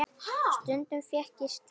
Stundum fékk ég að stýra.